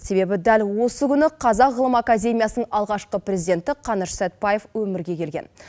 себебі дәл осы күні қазақ ғылым академиясының алғашқы президенті қаныш сәтбаев өмірге келген